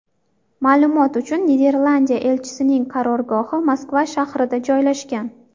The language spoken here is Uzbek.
Ma’lumot uchun, Niderlandiya elchisining qarorgohi Moskva shahrida joylashgan.